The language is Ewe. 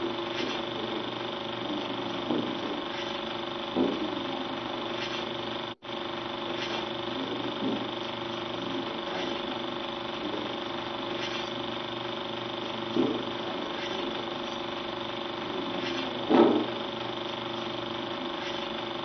Kpovitɔ aɖewo le mɔmenɔlawo ŋu dzɔm. Wonye mɔmenɔla eve, ɖeka le nu kplɔm eye ɖeka le mɔ me hele aha ɖe asi. Kpovitɔ ɖeka lé kpo ɖe asi eye mɔmenɔlawo ƒe aba hã le afi ma.